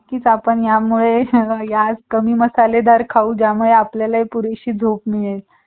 आता आपण यामुळे आज आपण कमी मसालेदार खाऊ ज्यामुळे आपल्याला पुरेशी झोप मिळेल